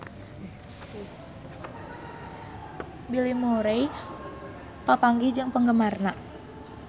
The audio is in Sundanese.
Bill Murray papanggih jeung penggemarna